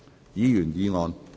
議員議案。